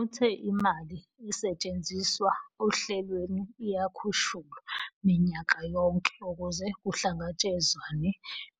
Uthe imali esetshenziswa ohlelweni iyakhushulwa minyaka yonke ukuze kuhlangatshezwane